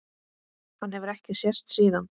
Hann hefur ekki sést síðan.